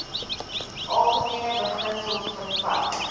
algemene beginsels vervat